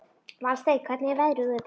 Valsteinn, hvernig er veðrið úti?